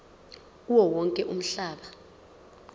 kuwo wonke umhlaba